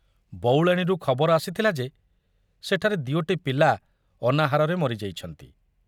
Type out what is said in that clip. ବଉଳାଣିରୁ ଖବର ଆସିଥିଲା ଯେ ସେଠାରେ ଦିଓଟି ପିଲା ଅନାହାରରେ ମରି ଯାଇଛନ୍ତି।